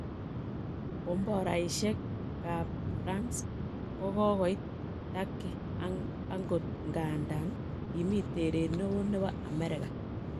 Komboraishek ab France kogoit Turkey agot ngandan kimi teeret nee ooh nebo Amerika.